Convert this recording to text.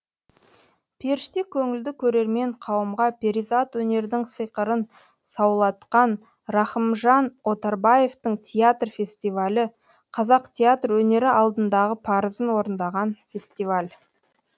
періште көңілді көрермен қауымға перизат өнердің сиқырын саулатқан рахымжан отарбаевтың театр фестивалі қазақ театр өнері алдындағы парызын орындаған фестиваль